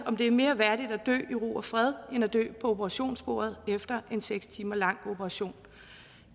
om det er mere værdigt at dø i ro og fred end at dø på operationsbordet efter en seks timer lang operation